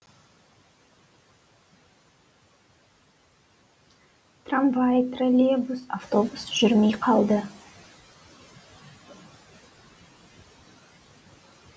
трамвай троллейбус автобус жүрмей қалды